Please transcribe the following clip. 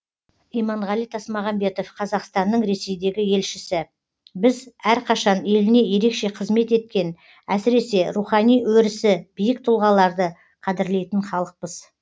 иманғали тасмағамбетов қазақстанның ресейдегі елшісі біз әрқашан еліне ерекше қызмет еткен әсіресе рухани өрісі биік тұлғаларды қадірлейтін халықпыз